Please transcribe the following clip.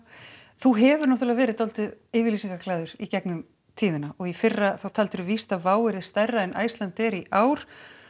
þú hefur náttúrulega verið dálítið yfirlýsingaglaður í gegnum tíðina og í fyrra þá víst að Wow yrði stærra en Icelandair í ár